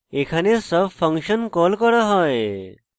এখানে sub function call করা হয়